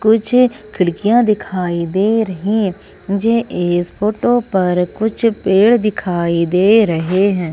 कुछ खिड़कियां दिखाई दे रही है मुझे इस फोटो पर कुछ पेड़ दिखाई दे रहे है।